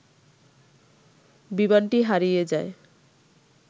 বিমানটি হারিযে যায়